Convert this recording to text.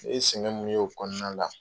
Ne ye sɛgɛn min ye o kɔnɔna la.